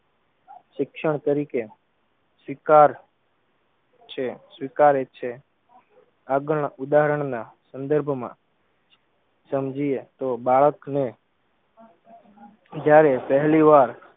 શિક્ષણ તરીકે સ્વીકાર છે સ્વીકારે છે. આગળના ઉદાહરણના સંદર્ભમાં સમજીયે તો બાળકને જયારે પહેલી વાર